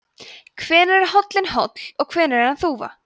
hvenær er hóllinn hóll og hvenær er hann þúfa